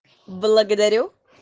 благодарю